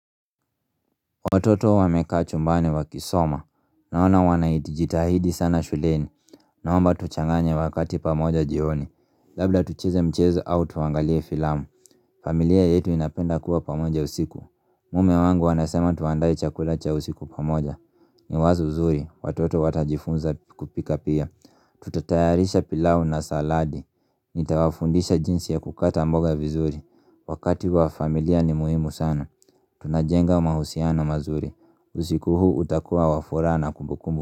Watoto wamekaa chumbani wakisoma, naona wanajitahidi sana shuleni, naomba tuchanganye wakati pamoja jioni, labda tucheze mchezo au tuangalie filamu, familia yetu inapenda kuwa pamoja usiku, mume wangu anasema tuandae chakula cha usiku pamoja, ni wazo zuri, watoto watajifunza kupika pia, tutatayarisha pilau na saladi, nitawafundisha jinsi ya kukata mboga vizuri, wakati wa familia ni muhimu sana, tunajenga mahusiano mazuri usiku huu utakuwa wafuraha na kumbukumbu.